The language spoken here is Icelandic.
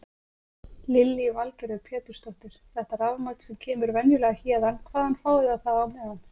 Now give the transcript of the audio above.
Lillý Valgerður Pétursdóttir: Þetta rafmagn sem kemur venjulega héðan, hvaðan fáið þið það á meðan?